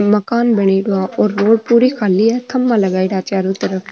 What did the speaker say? मकान बनेड़ा है और रोड पूरी खाली है खम्भा लगायड़ा है चारो तरफ।